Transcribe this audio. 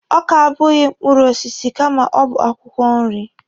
Ọka abụghị mkpụrụ osisi kama ọ bụ akwụkwọ nri.